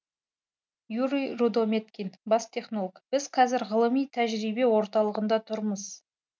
юрий рудометкин бас технолог біз қазір ғылыми тәжірибе орталығында тұрмыз